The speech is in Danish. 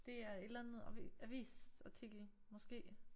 Det er et eller andet avisartikel måske